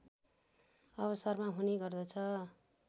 अवसरमा हुने गर्दछ